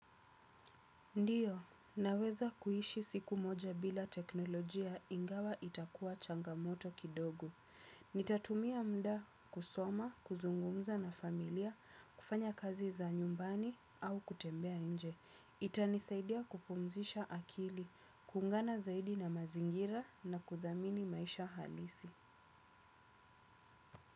Ndiyo, naweza kuishi siku moja bila teknolojia ingawa itakuwa changamoto kidogo. Nitatumia muda kusoma, kuzungumza na familia, kufanya kazi za nyumbani au kutembea inje. Itanisaidia kupumzisha akili, kuungana zaidi na mazingira na kuthamini maisha halisi.